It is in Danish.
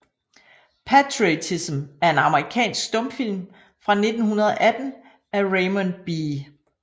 Patriotism er en amerikansk stumfilm fra 1918 af Raymond B